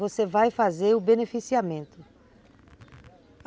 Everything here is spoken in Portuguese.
Você vai fazer o beneficiamento.